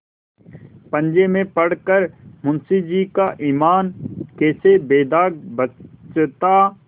पंजे में पड़ कर मुंशीजी का ईमान कैसे बेदाग बचता